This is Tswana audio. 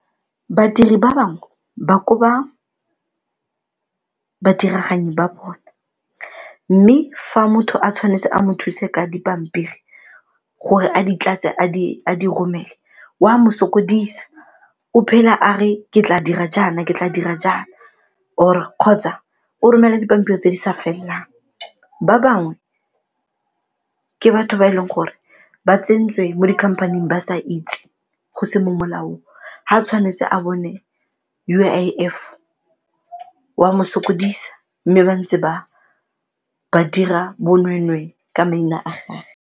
Badiri ba bangwe ba koba badiraganyi ba bone, mme fa motho a tshwanetse a mo thuse ka dipampiri gore a di tlatse a di romele o a mo sokodisa o phela a re ke tla dira jaana, ke tla dira jaana or kgotsa o romela dipampiri tse di sa felelelang, ba bangwe ke batho ba e leng gore ba tsentswe mo dikhamphaneng ba sa itse go se mo molaong, ga tshwanetse a bone U_I_F wa mo sokodisa mme ba ntse ba dira bonweenwee ka maina a gage.